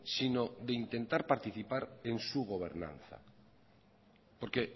sino de intentar participar en su gobernanza porque